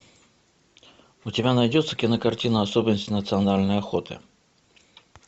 у тебя найдется кинокартина особенности национальной охоты